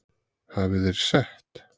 Hafi þeir sett